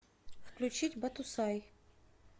включить батусай